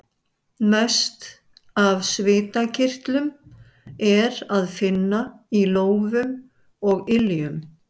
Mest af svitakirtlum er að finna í lófum og iljum.